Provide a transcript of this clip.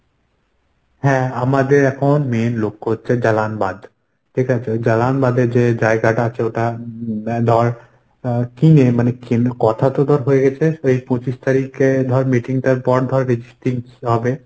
হ্যাঁ আমাদের এখন main লক্ষ্য হচ্ছে জালানবাদ। ঠিকাছে? ওই জালানবাদে যে জায়গাটা আছে ওটা উম এ ধর আহ কিনে মানে কিন কথা তো ধর হয়ে গেছে। সেই পঁচিশ তারিখে ধর meeting টার পর ধর registry হবে।